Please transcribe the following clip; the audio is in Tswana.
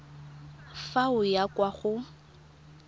fa o ya kwa go